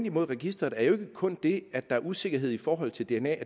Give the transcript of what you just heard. imod registreret er jo ikke kun det at der er usikkerhed i forhold til dna